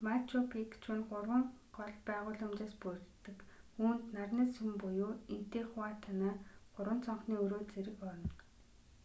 мачу пикчу нь гурван гол байгууламжаас бүрддэг үүнд нарны сүм буюу интихуатана гурван цонхны өрөө зэрэг орно